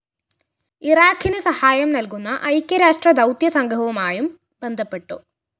ഇറാഖിന്‌ സഹായം നല്‍കുന്ന ഐക്യരാഷ്ട്ര ദൗത്യ സംഘവുമായും ബന്ധപ്പെട്ടു